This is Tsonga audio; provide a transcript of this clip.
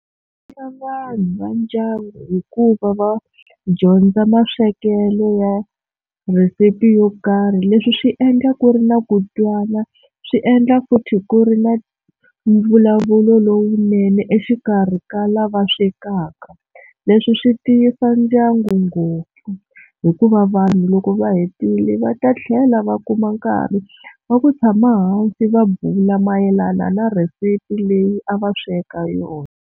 Ya vanhu va ndyangu hikuva va dyondza maswekelo ya rhisipi yo karhi leswi swi endla ku ri na ku twana swi endla futhi ku ri na mvulavulo lowunene exikarhi ka lava swekaka leswi swi tiyisa ndyangu ngopfu hikuva vanhu loko va hetile va ta tlhela va kuma nkarhi wa ku tshama hansi va bula mayelana na rhesipi leyi a va sweka yona.